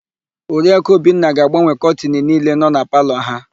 Oriaku Obinna ga-agbanwe kọtịnụ niile nọ na palọ ha.